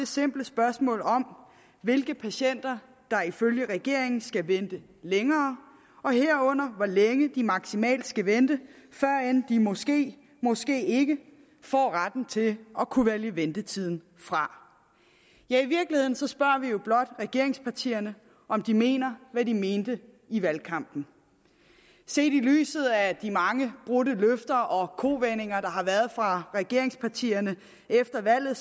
simpelt spørgsmål om hvilke patienter der ifølge regeringen skal vente længere herunder hvor længe de maksimalt skal vente før end de måske måske ikke får retten til at kunne vælge ventetiden fra ja i virkeligheden spørger vi jo blot regeringspartierne om de mener hvad de mente i valgkampen set i lyset af de mange brudte løfter og kovendinger der har været fra regeringspartierne efter valget